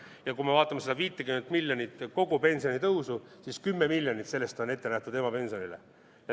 Ja kui me vaatame seda 50 miljonit kogu pensioni tõusu, siis 10 miljonit sellest on ette nähtud emapensionile.